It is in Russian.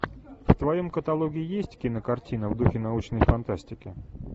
в твоем каталоге есть кинокартина в духе научной фантастики